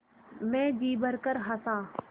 मैं जी भरकर हँसा